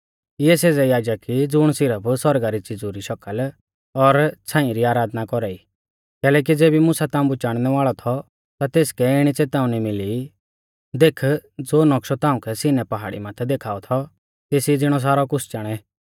इऐ सेज़ै याजक ई ज़ुण सिरफ सौरगा री च़िज़ु री शकल और छ़ाईं री आराधना कौरा ई कैलैकि ज़ेबी मुसा ताम्बु चाणनै वाल़ौ थौ ता तेसकै इणी च़ेताउनी मिली देख ज़ो नौक्शौ ताउंकै सिन्नै पहाड़ी माथै देखाऔ थौ तेसी ज़िणौ सारौ कुछ़ चाणै